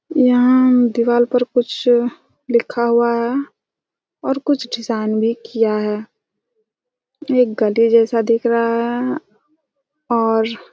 यहाँ दिवार पर कुछ लिखा हुआ है और कुछ डिज़ाइन भी किया है ये गधे जैसा दिख रहा हैं और--